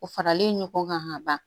O faralen ɲɔgɔn kan ka ban